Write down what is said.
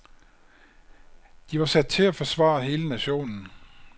De var sat til at forsvare hele nationen.